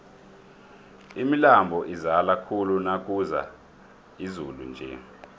imilambo izala khulu nakuna izulu nje